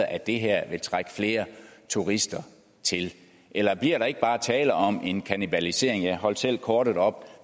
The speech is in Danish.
at det her vil trække flere turister til eller bliver der ikke bare tale om en kannibalisering jeg holdt selv kortet op